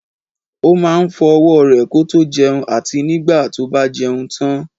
Ó máa ń fọ owó re kótó jẹun àti nígbà tó bá jẹun tán